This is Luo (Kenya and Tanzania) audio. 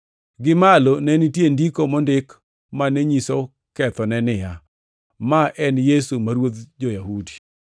Gimalo ne nitie ndiko mondik mane nyiso kethone niya: Ma en Yesu, ma Ruodh Jo-Yahudi.